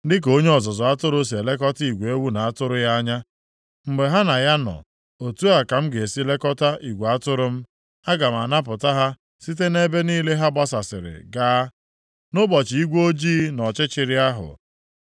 Dịka onye ọzụzụ atụrụ si elekọta igwe ewu na atụrụ ya anya, mgbe ha na ya nọ, otu a ka m ga-esi lekọta igwe atụrụ m. Aga m anapụta ha site nʼebe niile ha gbasasịrị gaa, nʼụbọchị igwe ojii na ọchịchịrị ahụ.